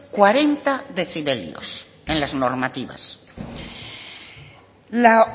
cuarenta decibelios en las normativas la